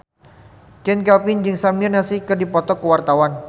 Chand Kelvin jeung Samir Nasri keur dipoto ku wartawan